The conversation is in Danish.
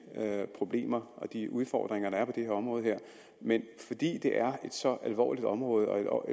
problemer og de udfordringer der er på det her område men fordi det er et så alvorligt område og